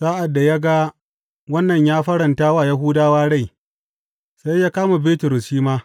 Sa’ad da ya ga wannan ya faranta wa Yahudawa rai, sai ya kama Bitrus shi ma.